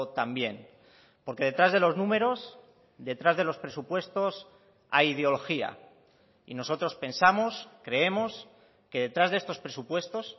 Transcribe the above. también porque detrás de los números detrás de los presupuestos hay ideología y nosotros pensamos creemos que detrás de estos presupuestos